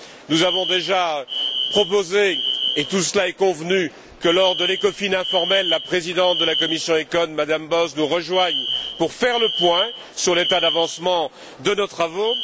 Nous avons déjà proposé, et tout cela est convenu, que lors de l'ECOFIN informel, la présidente de la commission ECON, Mme Bowles nous rejoigne pour faire le point sur l'état d'avancement de nos travaux.